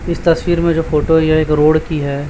इस तस्वीर में जो फोटो है यह एक रोड की है।